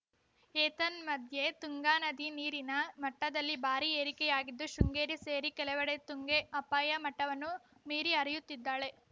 ಏತನ್ಮಧ್ಯೆ ತುಂಗಾ ನದಿ ನೀರಿನ ಮಟ್ಟದಲ್ಲಿ ಭಾರೀ ಏರಿಕೆಯಾಗಿದ್ದು ಶೃಂಗೇರಿ ಸೇರಿ ಕೆಲವೆಡೆ ತುಂಗೆ ಅಪಾಯ ಮಟ್ಟವನ್ನು ಮೀರಿ ಹರಿಯುತ್ತಿದ್ದಾಳೆ